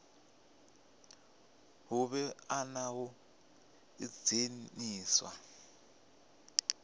hu vhe na u ḓidzhenisa